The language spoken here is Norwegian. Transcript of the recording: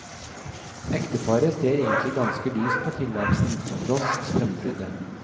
Ekteparet ser egentlig ganske lyst på tilværelsen, tross strømbruddet.